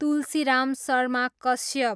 Tulsiram Sharma Kashyap